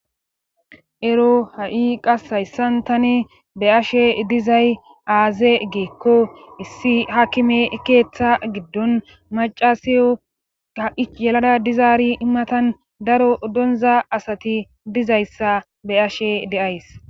Ero ha7i qas hayssan tani be ashe dizay aaze geekko issi haakime ekeeththa giddon macasiyo ka ich yelada dizaari immatan daro donza asati dizayssa be ashe deays